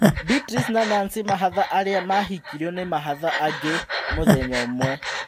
Beatrice na Nancy mahatha arĩa mahikirio ni mahatha angĩ mũthenya ũmwe